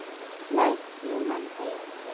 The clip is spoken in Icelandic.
Læt símann eiga sig.